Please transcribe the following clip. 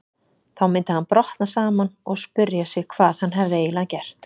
Þá myndi hann brotna saman og spyrja sig hvað hann hefði eiginlega gert.